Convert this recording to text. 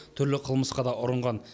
түрлі қылмысқа да ұрынған